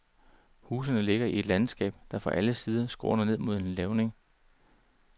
Husene ligger i et landskab, der fra alle sider skråner ned mod en lavning.